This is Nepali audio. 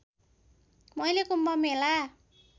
मैले कुम्भ मेला